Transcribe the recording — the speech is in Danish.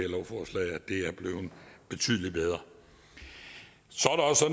betydelig bedre